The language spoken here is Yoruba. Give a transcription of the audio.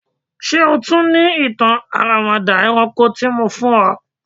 Ṣe o tun ni itan aramada ẹranko l fun ọ?